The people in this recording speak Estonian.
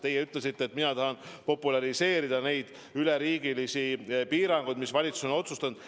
Teie ütlesite, et mina tahan populariseerida neid üleriigilisi piiranguid, mis valitsus on otsustanud.